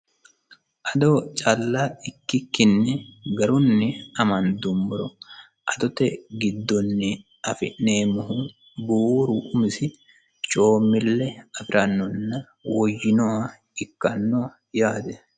ado calla ikkikkinni garunni amandummoroadote giddonni afi'neemmohu buuru umisi coommille afirannohanna coommannoha ikkanno yaate